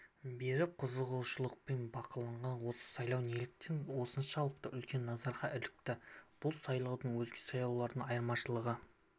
беріп қызығушылықпен бақылаған осы сайлау неліктен осыншалықты үлкен назарға ілікті бұл сайлаудың өзге сайлаулардан айырмашылығы